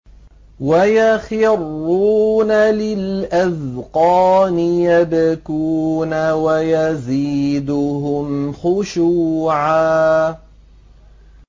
وَيَخِرُّونَ لِلْأَذْقَانِ يَبْكُونَ وَيَزِيدُهُمْ خُشُوعًا ۩